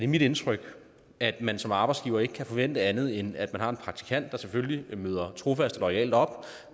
mit indtryk at man som arbejdsgiver ikke kan forvente andet end at man har en praktikant der selvfølgelig møder trofast og loyalt op og